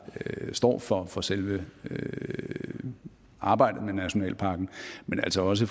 står for for selve selve arbejdet med nationalparken men altså også